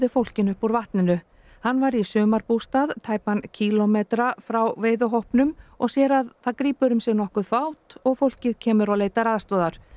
fólkinu upp úr vatninu hann var í sumarbústað tæpan kílómetra frá og sér að það grípur um sig nokkuð fát og fólkið kemur og leitar aðstoðar